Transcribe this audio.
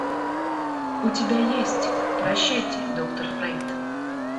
у тебя есть прощайте доктор фрейд